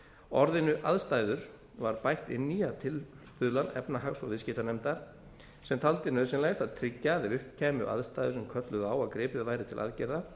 orðinu aðstæður var bætt inn í að tilstuðlan efnahags og viðskiptanefndar sem taldi nauðsynlegt að tryggja að ef upp kæmu aðstæður sem kölluðu á að gripið væri til aðgerða